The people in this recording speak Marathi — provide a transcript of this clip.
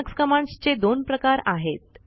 लिनक्स कमांडस् चे दोन प्रकार आहेत